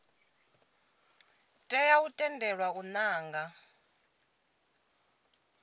tea u tendelwa u nanga